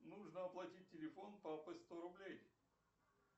нужно оплатить телефон папы сто рублей